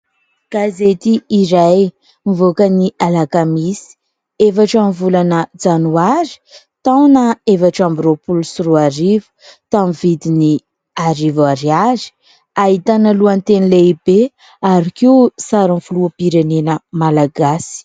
Gazety iray nivoaka ny alakamisy faha efatra amin'ny volana janoary taona efatra ambin'ny roa-polo sy roa arivo taminy vidiny arivo Ariary, ahitana lohanteny lehibe ary koa sarin'ny filoham-pirenena Malagasy.